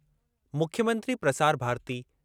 मुख्यमंत्री प्रसार भारती